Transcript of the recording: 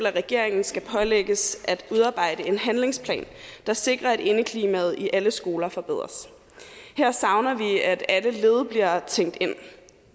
at regeringen skal pålægges at udarbejde en handlingsplan der sikrer at indeklimaet i alle skoler forbedres her savner vi at alle led bliver tænkt ind